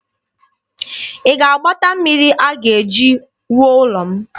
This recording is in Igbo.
Ị ga-agbata mmiri a ga-eji wuo ụlọ m?